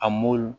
A